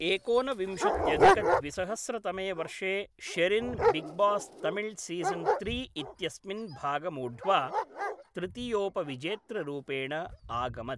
एकोनविंशत्यधिकद्विसहस्रतमे वर्षे शेरिन् बिग्बास्तमिळ्सीज़न् त्रि इत्यस्मिन् भागमूढ्वा तृतीयोपविजेतृरूपेण आगमत्।